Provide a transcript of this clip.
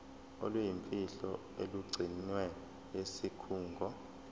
oluyimfihlo olugcinwe yisikhungo